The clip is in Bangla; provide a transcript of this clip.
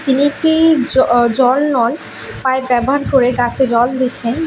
তিনি একটি জ অ জল নল পাইপ ব্যবহার করে গাছে জল দিচ্ছেন।